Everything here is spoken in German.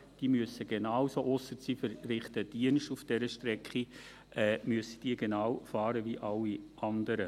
Diese müssen genauso fahren wie alle anderen auch – ausser, sie verrichten Dienste auf dieser Strecke.